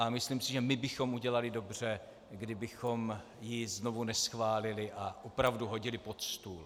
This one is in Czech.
A myslím si, že my bychom udělali dobře, kdybychom ji znovu neschválili a opravdu hodili pod stůl.